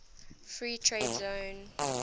free trade zone